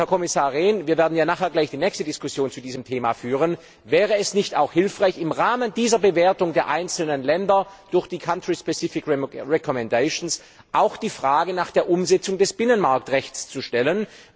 Herr Kommissar Rehn, wir werden hier gleich die nächste Diskussion zu diesem Thema führen Wäre es nicht auch hilfreich, im Rahmen dieser Bewertung der einzelnen Länder durch die country specific recommendations auch die Frage nach der Umsetzung des Binnenmarktrechts zu stellen?